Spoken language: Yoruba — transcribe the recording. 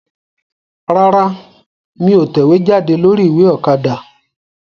Rárá, mí ò tẹ̀wéjáde lórí ìwé Òkadà